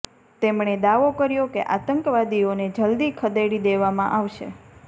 તેમણે દાવો કર્યો કે આતંકવાદીઓને જલદી ખદેડી દેવામાં આવશે